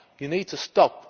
You need to stop.